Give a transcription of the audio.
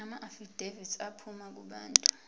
amaafidavithi aphuma kubantu